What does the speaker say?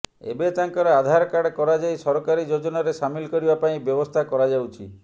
ଏବେ ତାଙ୍କର ଆଧାରକାର୍ଡ଼ କରାଯାଇ ସରକାରୀ ଯୋଜନାରେ ସାମିଲ କରିବା ପାଇଁ ବ୍ୟବସ୍ଥା କରାଯାଉଛି